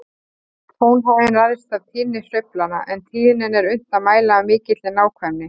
Tónhæðin ræðst af tíðni sveiflanna, en tíðnina er unnt að mæla af mikilli nákvæmni.